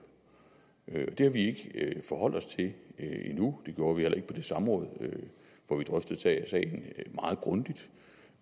det har vi ikke forholdt os til endnu det gjorde vi heller ikke på det samråd hvor vi drøftede sagen meget grundigt